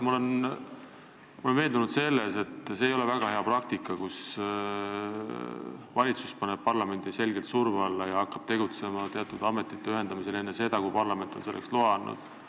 Ma olen veendunud, et see ei ole väga hea praktika, kui valitsus paneb parlamendi selgelt surve alla ja hakkab teatud ametite ühendamisel tegutsema enne seda, kui parlament on selleks loa andnud.